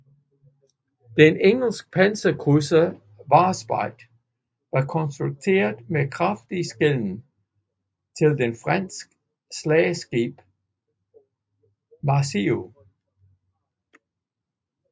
Den engelske panserkrydser Warspite var konstrueret med kraftig skelen til det franske slagskib Marceau